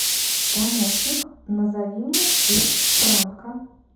помощник назови мне курс франка